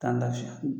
K'an lafiya